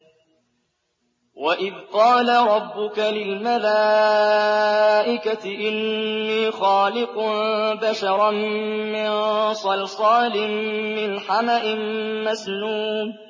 وَإِذْ قَالَ رَبُّكَ لِلْمَلَائِكَةِ إِنِّي خَالِقٌ بَشَرًا مِّن صَلْصَالٍ مِّنْ حَمَإٍ مَّسْنُونٍ